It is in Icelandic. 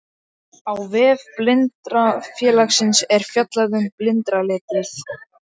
Á vef Blindrafélagsins er fjallað um blindraletrið.